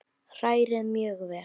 Hrærið mjög vel.